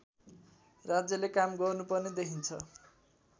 राज्यले काम गर्नुपर्ने देखिन्छ